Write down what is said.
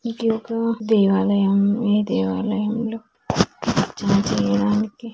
ఇది ఒక దేవాలయం ఈ దేవయాలం లో చార్జు ఏయడానికి --